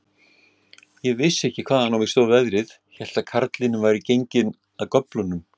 Ég vissi ekki, hvaðan á mig stóð veðrið, hélt að karlinn væri genginn af göflunum.